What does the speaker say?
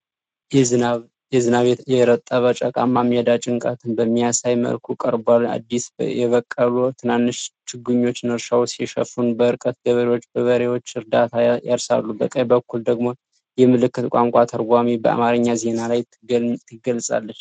በዝናብ የረጠበ ጭቃማ ሜዳ ጭንቀትን በሚያሳይ መልኩ ቀርቧል። አዲስ የበቀሉ ትናንሽ ችግኞች እርሻውን ሲሸፍኑ፤ በርቀት ገበሬዎች በበሬዎች እርዳታ ያርሳሉ። በቀኝ በኩል ደግሞ የምልክት ቋንቋ ተርጓሚዋ በአማርኛ ዜናው ላይ ትገለጻለች።